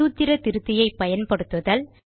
சூத்திர திருத்தியை பயன்படுத்துதல்